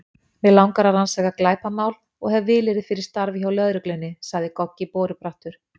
Mig langar að rannsaka glæpamál og hef vilyrði fyrir starfi hjá lögreglunni, sagði Goggi borubrattur.